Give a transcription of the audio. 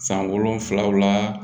San wolonwulaw la